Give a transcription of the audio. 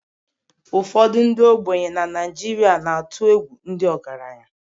Ụfọdụ ndị ogbenye nọ na Naijiria na-atụ egwu ndị ọgaranya